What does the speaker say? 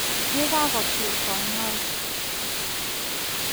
Yegagotil konyoig.